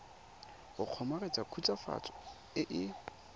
go kgomaretsa khutswafatso e e